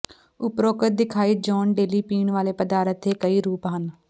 ਉਪਰੋਕਤ ਦਿਖਾਈ ਜੌਨ ਡੇਲੀ ਪੀਣ ਵਾਲੇ ਪਦਾਰਥ ਤੇ ਕਈ ਰੂਪ ਹਨ